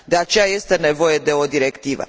De aceea, este nevoie de o directivă.